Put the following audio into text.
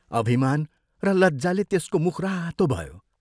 अभिमान र लज्जाले त्यसको मुख रातो भयो।